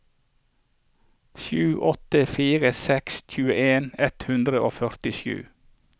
sju åtte fire seks tjueen ett hundre og førtisju